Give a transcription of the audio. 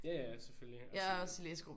Ja ja selvfølgelig. Også sådan